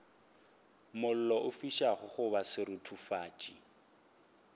mollo o fišago goba seruthufatši